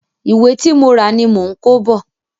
Ìwé tí mo rà ni mò ń kó bọ̀.